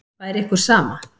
Væri ykkur sama?